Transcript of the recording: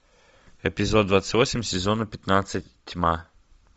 эпизод двадцать восемь сезона пятнадцать тьма